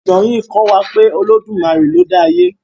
Ìtàn yí kò wá pé olodumaré lọ dá àyè.